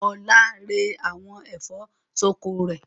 Ọlá rẹ àwọn ẹ̀fọ́ ṣọkọ rẹ̀.